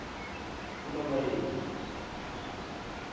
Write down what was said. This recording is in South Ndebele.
kunobayeni